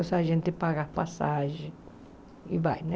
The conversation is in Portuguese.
Então a gente paga passagem e vai, né?